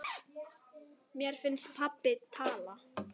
Mér finnst pabbi tala.